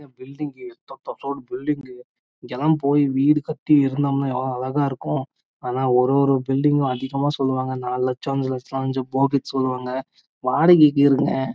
இங்க லாம் போய் வீடு கட்டி இருந்தாங்கன்னா ஏவுளோ அழகா இருக்கும் ஆனா ஒரு ஒரு பூவைடிங் வும் அதிகம சொல்லுவாங்க நாலு லச்சம் இல்ல அஞ்சு லட்சம் னு சொல்லுவாங்க அதுனாலே வடைக்குகே இருங்க